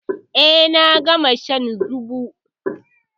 Eh, na gama shan zobo.